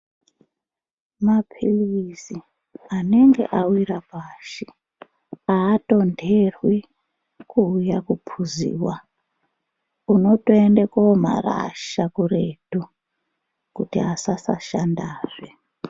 Mapirizi anenge awira pashi atonderwi kuuya kupuziwa unotoende komarasha kuretu kuti asasashandazve.